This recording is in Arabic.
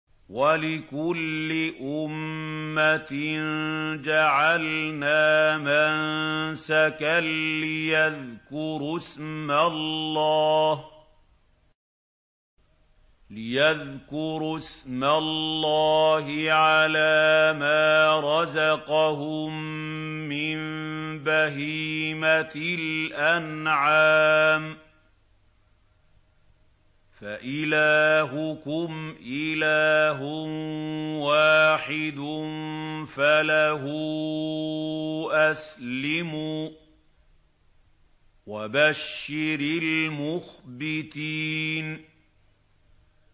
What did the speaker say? وَلِكُلِّ أُمَّةٍ جَعَلْنَا مَنسَكًا لِّيَذْكُرُوا اسْمَ اللَّهِ عَلَىٰ مَا رَزَقَهُم مِّن بَهِيمَةِ الْأَنْعَامِ ۗ فَإِلَٰهُكُمْ إِلَٰهٌ وَاحِدٌ فَلَهُ أَسْلِمُوا ۗ وَبَشِّرِ الْمُخْبِتِينَ